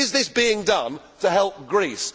Is this being done to help Greece?